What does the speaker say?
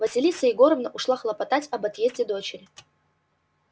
василиса егоровна ушла хлопотать об отъезде дочери